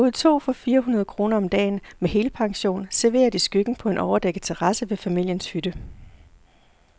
Vi boede to for fire hundrede kroner om dagen, med helpension, serveret i skyggen på en overdækket terrasse ved familiens hytte.